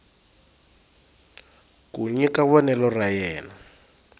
ku nyika vonelo ra yena